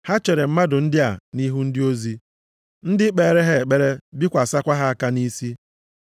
Ha chere mmadụ ndị a nʼihu ndị ozi, ndị kpeere ha ekpere, bikwasịkwa ha aka nʼisi.